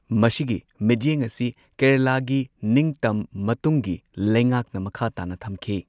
ꯃꯁꯤꯒꯤ ꯃꯤꯠꯌꯦꯡ ꯑꯁꯤ ꯀꯦꯔꯂꯥꯒꯤ ꯅꯤꯡꯇꯝ ꯃꯇꯨꯡꯒꯤ ꯂꯩꯉꯥꯛꯅ ꯃꯈꯥ ꯇꯥꯅ ꯊꯝꯈꯤ꯫